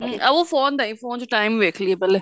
ਅਬੂ phone ਦੀ phone ਚ time ਦੇਖ ਲੀਏ ਪਹਿਲੇ